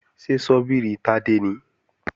Ṣé ṣọ́bìrì Tádé nìí?